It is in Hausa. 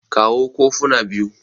kawo kofuna biyu